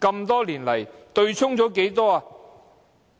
多年來，對沖了多少金額呢？